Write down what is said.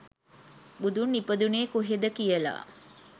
බුදුන් ඉපදුනේ කොහෙද කියල